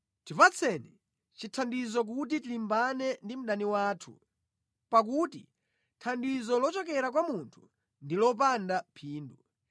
Tipatseni chithandizo kuti tilimbane ndi mdani wathu, pakuti thandizo lochokera kwa munthu ndi lopanda phindu.